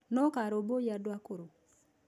Nũũ ũkarũmbũiya andũ akũrũ?